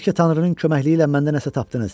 "Bəlkə tanrının köməkliyi ilə məndə nəsə tapdınız.